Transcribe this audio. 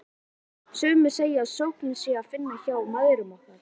Sumir segja að sökina sé að finna hjá mæðrum okkar.